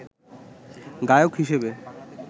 গায়ক হিসেবে